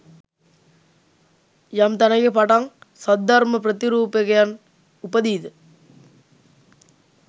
යම් තැනෙක පටන් සද්ධර්ම ප්‍රතිරූපකයන් උපදීද?